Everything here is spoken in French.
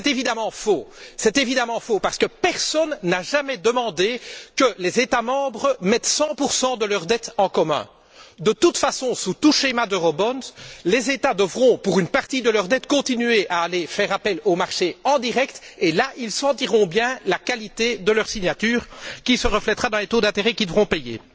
C'est évidemment faux, parce que personne n'a jamais demandé que les États membres mettent 100 de leurs dettes en commun. De toute façon, sous tout schéma d' eurobonds les États devront, pour une partie de leurs dettes, continuer à aller faire appel aux marchés en direct et là, ils sentiront bien la qualité de leur signature, qui se reflétera dans les taux d'intérêt qu'ils devront payer.